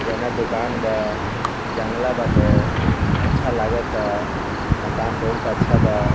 किराना दूकान बा ई जंगला बाटे अच्छा लागता मकान बहुत अच्छा बा।